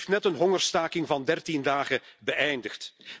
Ze heeft net een hongerstaking van 13 dagen beëindigd.